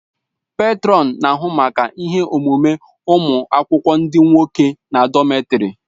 Pètrọn na-ahụ maka ihe omume ụmụ akwụkwọ ndị nwoke na dọmètarì